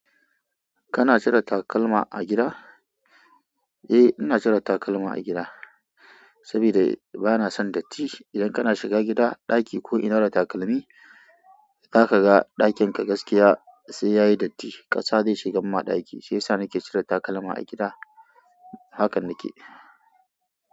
Kana cire takalma a gida? Eh, ina cire takalma a gida saboda bana son datti. Idan kana shiga gida, ɗaki ko ina da takalmi, za ka ga ɗakin ka gaskiya sai yayi datti. Kasa zai shigan ma ɗaki. Sai sa ni ke cire takalma a gida, hakan nake.